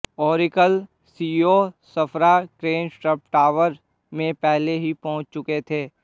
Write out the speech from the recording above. Oracle CEO Safra Catz Trump Tower में पहले ही पहुंच चुके थे